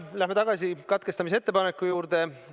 Läheme tagasi katkestamise ettepaneku juurde.